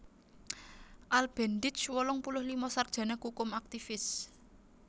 Al Bendich wolung puluh lima sarjana kukum aktivis